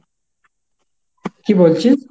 কি বলছিস?